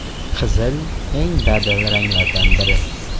Qizil eng dadil ranglardan biri.